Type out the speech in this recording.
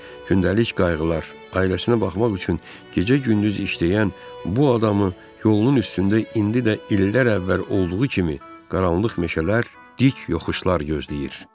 Gündəlik qayğılar, ailəsinə baxmaq üçün gecə-gündüz işləyən bu adamı yolunun üstündə indi də illər əvvəl olduğu kimi qaranlıq meşələr, dik yoxuşlar gözləyir.